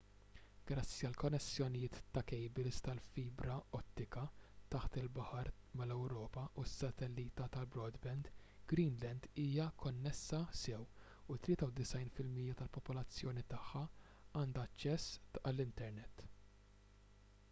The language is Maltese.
grazzi għal konnessjonijiet ta' kejbils tal-fibra ottika taħt il-baħar mal-ewropa u s-satellita tal-broadband greenland hija konnessa sew u 93% tal-popolazzjoni tagħha għandha aċċess għall-internet